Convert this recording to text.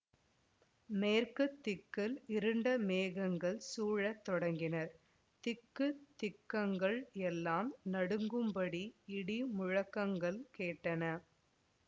மேற்கு திக்கில் இருண்ட மேகங்கள் சூழத் தொடங்கின திக்கு திக்கங்கள் எல்லாம் நடுங்கும்படி இடி முழக்கங்கள் கேட்டன